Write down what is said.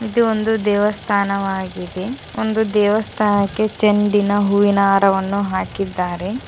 ಇದು ಒಂದು ದೇವಸ್ಥಾನವಾಗಿದೆ ಒಂದು ದೇವಸ್ಥಾನಕ್ಕೆ ಚೆಂಡಿನ ಹೂವಿನ ಹಾರವನ್ನು ಹಾಕಿದ್ದಾರೆ.